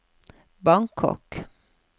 Bangkok